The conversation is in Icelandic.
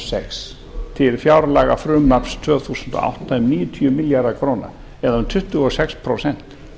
sex til fjárlagafrumvarps tvö þúsund og átta um níutíu milljarða króna eða um tuttugu og sex prósent